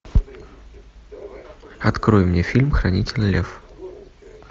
открой мне фильм хранитель лев